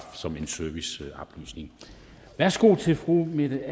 som en serviceoplysning værsgo til fru mette